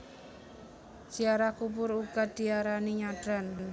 Ziarah kubur uga diarani nyadran